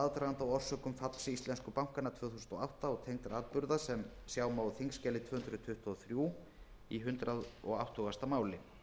aðdraganda og orsökum falls íslensku bankanna tvö þúsund og átta og tengdra atburða sem sjá má á þingskjali tvö hundruð tuttugu og þrjú í hundrað áttugustu máli